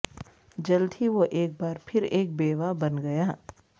جلد ہی وہ ایک بار پھر ایک بیوہ بن گیا